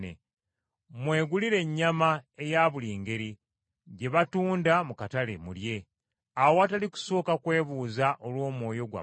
Mwegulire ennyama eya buli ngeri gye batunda mu katale mulye, awatali kusooka kwebuuza olw’omwoyo gwammwe.